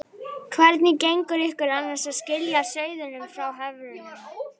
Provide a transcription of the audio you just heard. Hvernig gengur ykkur annars að skilja sauðina frá höfrunum?